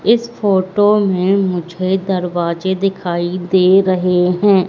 इस फोटो में मुझे दरवाजे दिखाई दे रहे हैं।